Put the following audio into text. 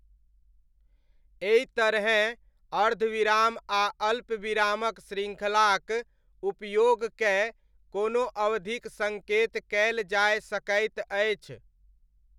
एहितरहेँ अर्धविराम आ अल्पविरामक श्रृङ्खलाक उपयोग कए कोनो अवधिक सङ्केत कयल जाय सकैत अछि।